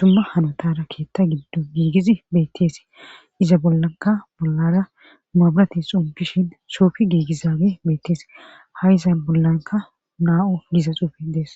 dumma hanotara keetta giddo giigiz beettees iza bollanka bollara maabati xombishin soofi giigizawe beettees ha iza bollanka naa7o giza xuufi dees